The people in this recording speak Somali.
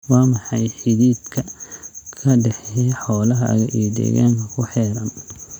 Waa maxay xidhiidhka ka dhexeeya xoolahaaga iyo deegaanka ku xeeran?